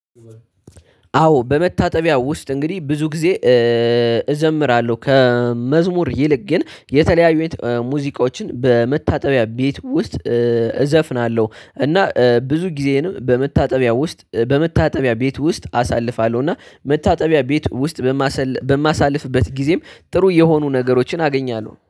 አዎ በመታጠቢያው ውስጥ እንግዲህ ብዙ ጊዜ እዘምራለሁ ከመዝሙር ይልቅ ግን የተለያዩ ሙዚቆችን በመታጠቢያ ቤት ውስጥ። እዘፍናለሁ እና ብዙ ጊዜንም በመታጠቢያ ውስጥ በመታጠቢያ ቤት ውስጥ አሳልፋለሁ። እና መታጠቢያ ቤት ውስጥ በማሳልፍበት ጊዜም ጥሩ የሆኑ ነገሮችን አገኛለሁ